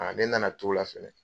ne na na to o la fɛnɛ.